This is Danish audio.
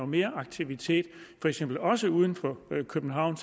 mere aktivitet for eksempel også uden for københavn